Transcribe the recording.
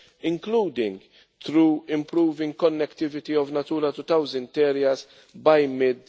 including through improving connectivity of Natura 2000 areas by mid